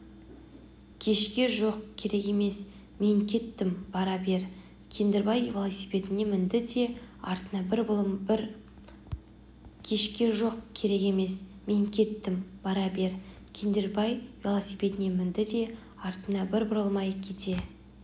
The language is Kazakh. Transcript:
кешке жоқ керек емес мен кеттім бара бер кендірбай велосипедіне мінді де артына бір бұрылмай кете